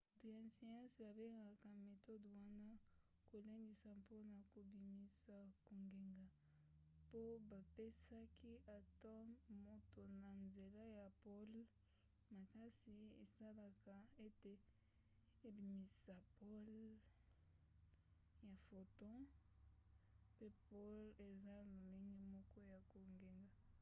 bato ya siansi babengaka metode wana kolendisa mpona kobimisa kongenga po bapesaki atome moto na nzela ya pole makasi esalaka ete ebimisisa pole ya photon pe pole eza lolenge moko ya kongenga